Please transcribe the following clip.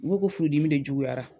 U ko ko furudimi de juguyara